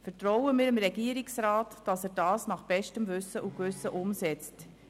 Vertrauen wir dem Regierungsrat, dass er diese nach bestem Wissen und Gewissen umsetzt.